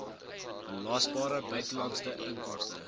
belasbare buitelandse inkomste